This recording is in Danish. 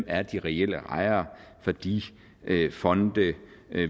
er de reelle ejere for de fonde